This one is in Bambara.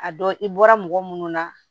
A dɔn i bɔra mɔgɔ munnu na